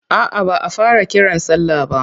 A'a ba a fara kiran sallah ba.